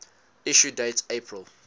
issue date april